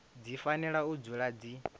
dzi fanela u dzula dzi